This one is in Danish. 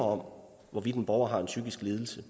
om hvorvidt en borger har en psykisk lidelse